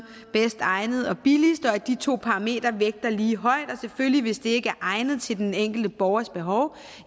bedst egnet og billigst og at de to parametre vægter lige højt og hvis det ikke er egnet til den enkelte borgers behov